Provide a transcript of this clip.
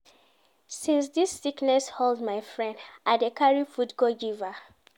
Since dis sickness hold my friend, I dey carry food go give her.